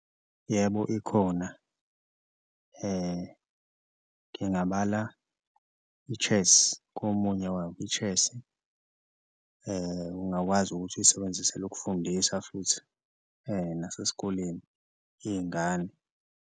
Yebo, ikhona ngingabala i-chess komunye i-chess-i ungakwazi ukuthi uyisebenzisele ukufundisa futhi nasesikoleni iy'ngane.